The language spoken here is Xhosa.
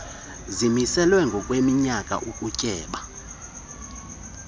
zimiselwa ngokweminyaka ukutyeba